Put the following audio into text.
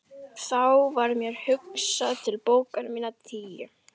Þá varð mér hugsað til bókanna minna tíu.